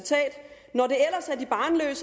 er